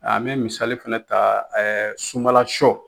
A n me misali fɛnɛ taa ɛɛ sunbala sɔ